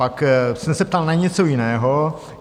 Pak jsem se ptal na něco jiného.